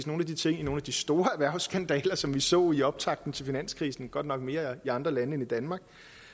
nogle af de ting i nogle af de store erhvervsskandaler som vi så i optakten til finanskrisen godt nok mere i andre lande end i danmark